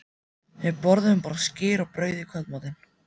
Við borðuðum bara skyr og brauð í kvöldmatinn.